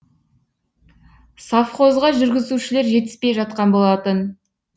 совхозға жүргізушілер жетіспей жатқан болатын